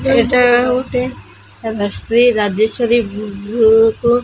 ଏଠାରେ ଗୋଟେ Shri Rajshree book.